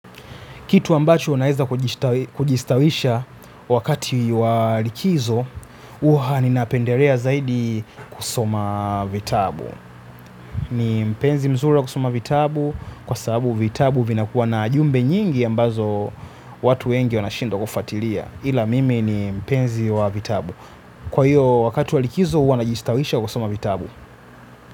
Kitu ambacho unaweza kujistawisha wakati wa likizo hua ninapendelea zaidi kusoma vitabu. Ni mpenzi mzuri wa kusoma vitabu kwa sababu vitabu vinakuwa na jumbe nyingi ambazo watu wengi wanashindwa kufuatilia. Ila mimi ni mpenzi wa vitabu. Kwa hiyo wakati wa likizo huwa najistawisha kusoma vitabu.